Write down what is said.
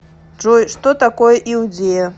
джой что такое иудея